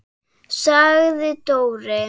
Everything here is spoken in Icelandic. sagði Dóri.